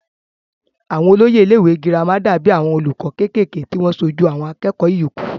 àwọn olóyè ilé ìwé girama dàbí àwọn olùkọ́ kékèké tí wọ́n sojú àwọn akẹ́kọ̀ọ́ ìyókù